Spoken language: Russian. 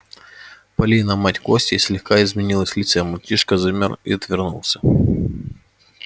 полина мать кости слегка изменилась в лице мальчишка замер и отвернулся